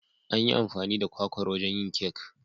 An yi amfani da kwakwar wajen yin kek